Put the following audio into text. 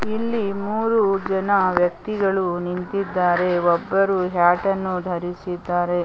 ಇಲ್ಲಿ ಮೂರು ಜನ ವ್ಯಕ್ತಿಗಳು ನಿಂತಿದ್ದಾರೆ ಒಬ್ಬರು ಹ್ಯಾಟ್ ಅನ್ನು ಧರಿಸಿದ್ದರೆ.